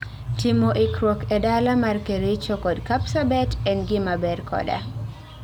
Timo ikruok ee dala mar Kericho kod Kapsabet en gima ber koda